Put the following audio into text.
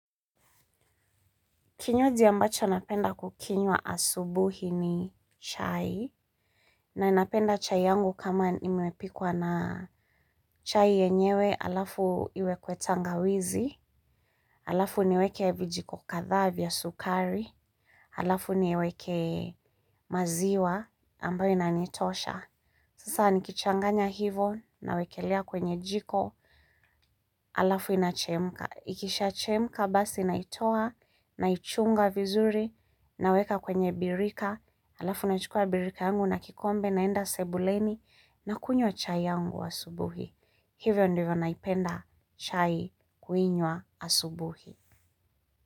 Kinywaji ambacho napenda kukinywa asubuhi ni chai na napenda chai yangu kama imepikwa na chai yenyewe alafu iwekwe tangawizi, alafu niweke vijiko kadhaa vya sukari, alafu niweke maziwa ambayo inanitosha. Sasa nikichanganya hivo nawekelea kwenye jiko alafu inachemka. Ikishaachemka basi naitoa naichunga vizuri naweka kwenye birika. Alafu naichukua birika yangu na kikombe naenda sebuleni na kunywa chai yangu asubuhi. Hivyo ndivyo naipenda chai kuinywa asubuhi.